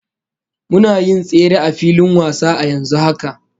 Muna yin tsere a filin wasa a yanzu haka